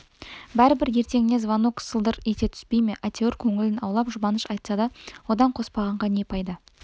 бәрібір ертеңіне звонок сылдыр ете түспей ме әйтеуір көңілін аулап жұбаныш айтса одан қоспанға не пайда